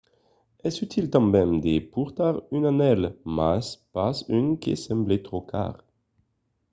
es util tanben de portar un anèl mas pas un que semble tròp car